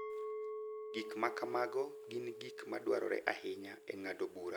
Gik ma kamago gin gik ma dwarore ahinya e ng’ado bura e wi pek mag ngima